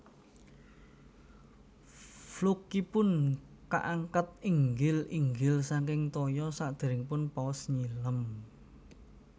Flukeipun kaangkat inggil inggil saking toya sadéréngipun paus nyilem